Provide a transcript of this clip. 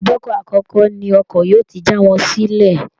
Ibùdókọ̀ akọ́kọ́ ni ọkọ̀ yóò ti já wọn sílẹ̀